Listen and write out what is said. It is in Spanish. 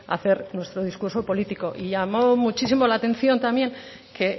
hacer nuestro discurso político llamó muchísimo la atención también que